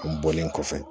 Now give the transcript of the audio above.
U bɔlen kɔfɛ